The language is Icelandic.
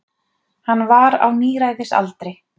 Hann var á níræðisaldri.